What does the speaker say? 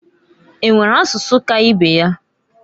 E nwere asụsụ ka ibe ya?